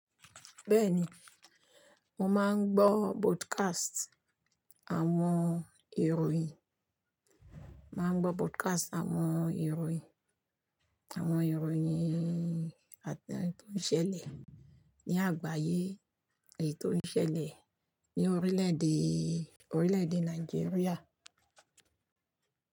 Bẹ́ẹ̀ni, mo máa ń gbọ́ bodcast àwọn ìròyìn, máa ń gbọ́ broadcast àwọn ìròyìn, àwọn ìròyìn àte han tò ṣẹ̀lẹ̀ ní àgbáyé èyí tó ṣẹ̀lẹ̀ ní orílẹ̀èdè, orílẹ̀èdè Nàìjíríà.